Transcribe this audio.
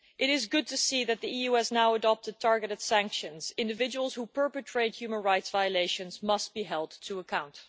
It is good to see that the EU has now adopted targeted sanctions. Individuals who perpetrate human rights violations must be held to account.